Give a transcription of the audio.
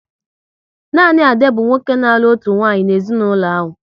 Nanị Ade bụ nwoke n'alu otu nwaanyị n'ezinaulo ahụ